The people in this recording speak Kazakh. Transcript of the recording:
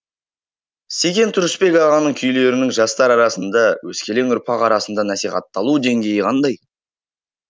секен тұрысбек ағаның күйлерінің жастар арасында өскелең ұрпақ арасында насихатталу деңгейі қандай